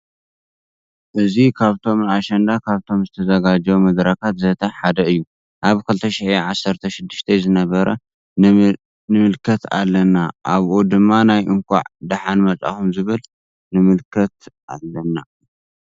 እዚ ካብቶም ንኣሸንዳ ካብቶም ዝተዘጋጀዉ መደረካት ዘተ ሓደ እዩ ኣብ 2016 ዝነበረ ንምልከት ኣለና ኣብኡ ድማ ናይ እነካዕ ደሓነ መፃኩም ዝብል ንምልከት አለና።